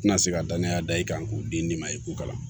Tɛna se ka danaya da i kan k'u den nin ma i k'u kalan